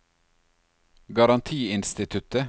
garantiinstituttet